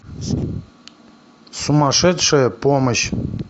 сумасшедшая помощь